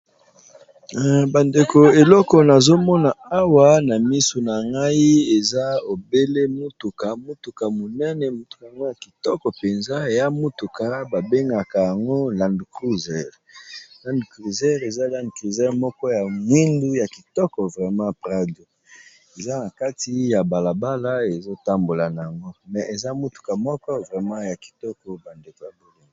bandeko eloko nazomona awa na misu na ngai eza ebele motuka motuka monene motuka yango ya kitoko mpenza ya mutuka babengaka yango land crser lande cruser eza lande criser moko ya mwindu ya kitoko vrema prado eza na kati ya balabala ezotambola na yango me eza motuka moko vrema ya kitoko bandeko ya bolongi